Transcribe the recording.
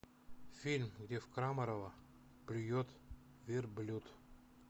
фильм где в крамарова плюет верблюд